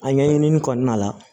A ɲɛɲinini kɔnɔna la